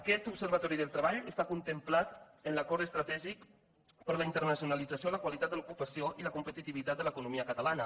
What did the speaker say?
aquest observatori del treball està contemplat en l’acord es tratègic per a la internacionalització la qualitat de l’ocupació i la competitivitat de l’economia catalana